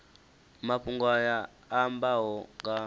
mafhungo aya a ambaho nga